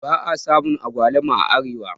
ba a samu agwaluma a Arewa